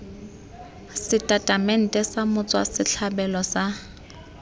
setatamente sa motswa setlhabelo sa